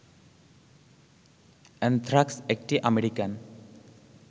anthrax একটি American